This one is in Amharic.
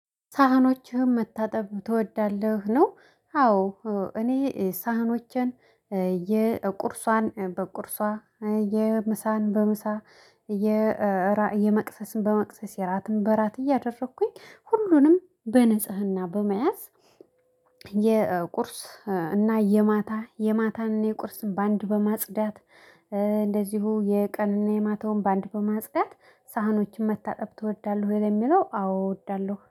ሳህኖችህም መታጠብ ትወዳለህ? ነው አዎ እኔ ሳህኖችን የቁርሷን በቁርሷ የምሳን በምሳ የራእይ የመክሰስን በመክሰስ የራትን በራት እያደረኩኝ ሁሉንም በንጽህና በመያዝ። የቁርስ እና የማታ የማታንና የቁርስን በአንድ በማጽዳት እንደዚሁ የቀንን የማታውን በአንድ በማጽዳት ሳህኖችን መታጠብ ትወዳለህ ወይ ለሚለው አዎ እወዳለሁ